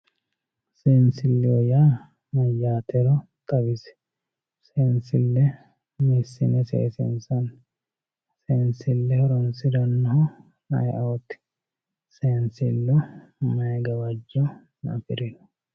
Seensileho yaa mayatero xawisi seensile hiisine seesinsani seenile horonsiranohu ayiooti seensilu mayi gawajjo afirino